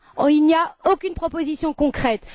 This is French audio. Il n'y a rien, aucune proposition concrète.